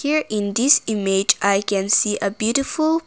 Here in this image i can see a beautiful.